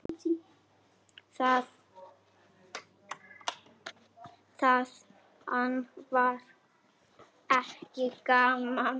Þaðan var einnig mikil útgerð.